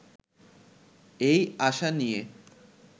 এই আশা নিয়ে